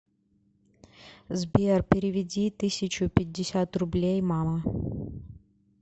сбер переведи тысячу пятьдесят рублей мама